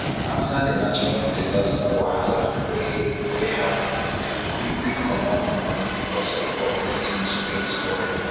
after di natural disaster wahala wey wey happen dem quick quick comot money because of all di things wey e spoil